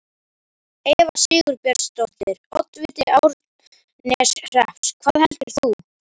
Eva Sigurbjörnsdóttir, oddviti Árneshrepps: Hvað heldur þú?